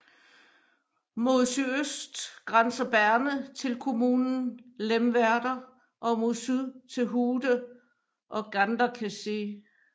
Mod sydøst grænser Berne til kommunen Lemwerder og mod syd til Hude og Ganderkesee